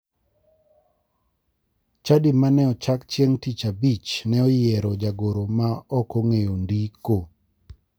Chadi mene ochak chieng' tich abich ne oyiero jagoro ma ok ng'eyo ndiko.